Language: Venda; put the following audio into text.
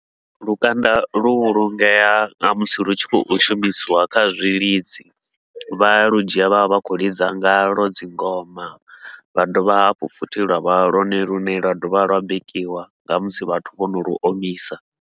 Lukanda lu vhulungea namusi lu tshi khou shumisiwa kha zwilidzi, vhaya ludzhia vha vha vha khou lidza ngalwo dzingoma vha dovha hafhu futhi lwa vha lwone lune lwa dovha lwa bikiwa nga musi vhathu vhono lu omisa.